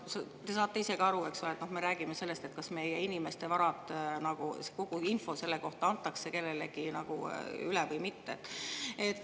Te saate ise ka aru, eks ole, et me räägime sellest, kas kogu info meie inimeste vara kohta antakse kellelegi üle või mitte.